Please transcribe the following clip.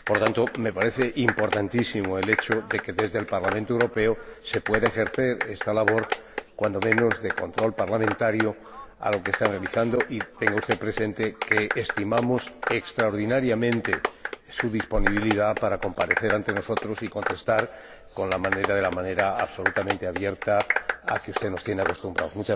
Por lo tanto, me parece importantísimo el hecho de que, desde el Parlamento Europeo, se pueda ejercer esta labor, cuando menos, de control parlamentario a lo que está realizando el Banco, y tenga usted presente que estimamos extraordinariamente su disponibilidad para comparecer ante nosotros y contestar de la manera absolutamente abierta a la que usted nos tiene acostumbrados.